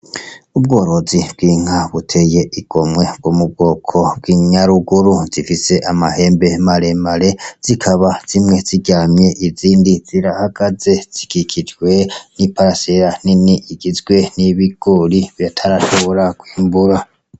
Ubworozi bw'inka buteye igomwe bwo mu bwoko bw'inyaruguru. Zifise amahembe maremare, zikaba zimwe ziryamye izindi zirahagaze, zikikijwe n'imbuga nini igizwe n'ibigori batarashobora kwimbura.